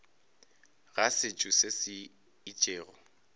ga setšo se se itšego